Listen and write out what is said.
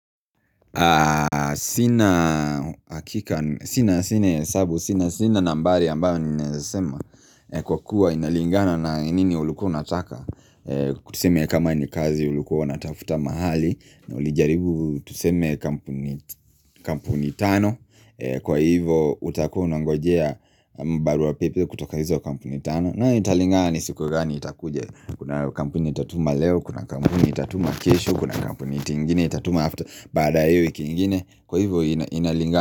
Sina sina hesabu Sina sina nambari ambayo ninaweza sema Kwa kuwa inalingana na nini ulikuwa unataka tuseme kama ni kazi ulikuwa unatafuta mahali na ulijaribu tuseme kampuni kampuni tano kwa hivo utakuwa unangojea barua pepe kutoka hizo kampuni tano nayo italingana ni siku gani itakuja kuna kampuni itatuma leo kuna kampuni itatuma kesho kuna kampuni ingine itatuma after Baada ya hiyo wiki ingine kwa hivyo inalinga.